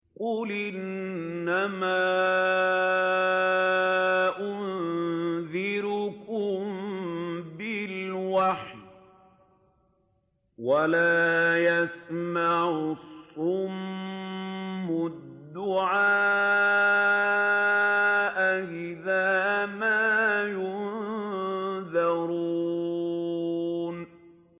قُلْ إِنَّمَا أُنذِرُكُم بِالْوَحْيِ ۚ وَلَا يَسْمَعُ الصُّمُّ الدُّعَاءَ إِذَا مَا يُنذَرُونَ